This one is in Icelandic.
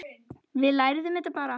Við lærum þetta bara.